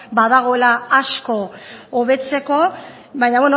badagoela asko hobetzeko baina